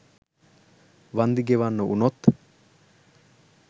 වන්දි ගෙවන්න වුනොත්?